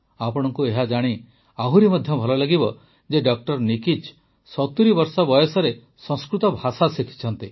ଆପଣଙ୍କୁ ଏହାଜାଣି ଆହୁରି ମଧ୍ୟ ଭଲ ଲାଗିବ ଯେ ଡ ନିକିଚ ୭୦ ବର୍ଷ ବୟସରେ ସଂସ୍କୃତ ଭାଷା ଶିଖିଛନ୍ତି